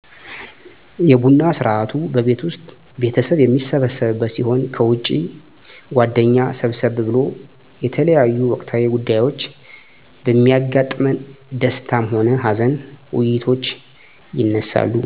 የቡና ስርአቱ በቤት ዉስጥ ቤተሰብ የሚሰበሰብበት ሲሆን ከዉጭ ጓደኛ ሰብሰብ ብሎ የተለያዮ ወቅታዊ ጉዳዮች በሚያጋጥመን ደስታም ሆነ ሀዘን ዉይይቶች ይነሳሉ